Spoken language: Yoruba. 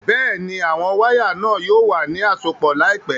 Bẹ́ẹ̀ni, àwọn wàya náà yóò wà ni àsọpọ̀ laípẹ̀